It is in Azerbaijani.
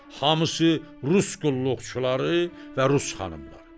Hamısı rus qulluqçuları və rus xanımları.